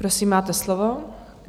Prosím, máte slovo.